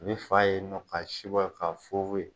U bi faa ye nɔ ka si bɔ ye ka fun fun ye